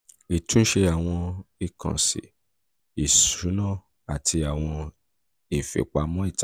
ìtúnṣe àwọn ìkànsí ìkànsí ìṣúná àti awọn ifipamọ ita